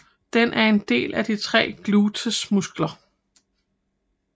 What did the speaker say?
Den er en del af de tre Gluteusmuskler